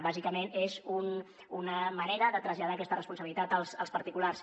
bàsicament és una manera de traslladar aquesta responsabilitat als particulars